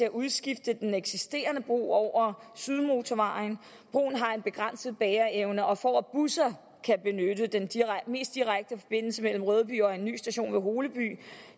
at udskifte den eksisterende bro over sydmotorvejen broen har en begrænset bæreevne og for at busser kan benytte den mest direkte forbindelse mellem rødby og en ny station ved holeby